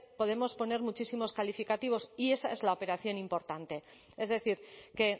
podemos poner muchísimos calificativos y esa es la operación importante es decir que